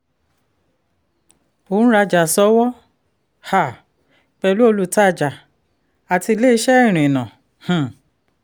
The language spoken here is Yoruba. ò ń rajà ṣọ́wọ́ um pẹ̀lú olùtajà àti ilé-iṣẹ́ irìnnà. um